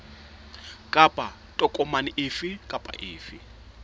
kapa tokomane efe kapa efe